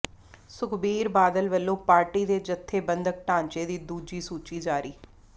ਸੁਖਬੀਰ ਬਾਦਲ ਵੱਲੋਂ ਪਾਰਟੀ ਦੇ ਜਥੇਬੰਦਕ ਢਾਂਚੇ ਦੀ ਦੂਜੀ ਸੂਚੀ ਜਾਰੀ